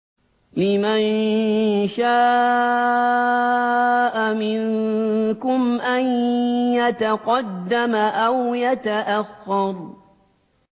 لِمَن شَاءَ مِنكُمْ أَن يَتَقَدَّمَ أَوْ يَتَأَخَّرَ